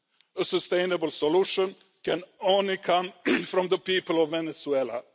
A sustainable solution can only come from the people of Venezuela.